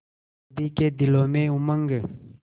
सभी के दिलों में उमंग